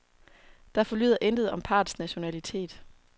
Der forlyder intet om parrets nationalitet.